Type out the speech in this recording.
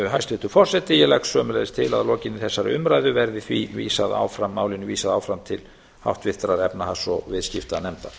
hæstvirtur forseti ég legg sömuleiðis til að lokinni þessari umræðu verði því vísað áfram málinu vísað áfram til háttvirtrar efnahags og viðskiptanefndar